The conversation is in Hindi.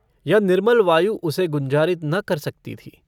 यह निर्मल वायु उसे गुंजारित न कर सकती थी।